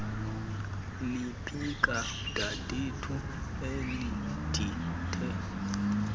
liphika dadethu elindithe